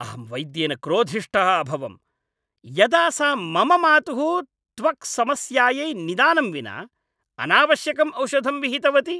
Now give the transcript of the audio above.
अहं वैद्येन क्रोधिष्ठः अभवम् यदा सा मम मातुः त्वक्समस्यायै निदानं विना अनावश्यकं औषधं विहितवती।